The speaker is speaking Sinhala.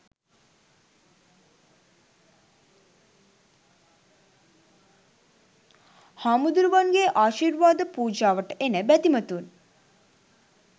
හාමුදුරුවන්ගේ ආශිර්වාද පූජාවට එන බැතිමතුන්